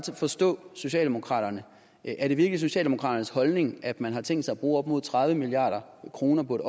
forstå socialdemokraterne er det virkelig socialdemokraternes holdning at man har tænkt sig at bruge op mod tredive milliard kroner på et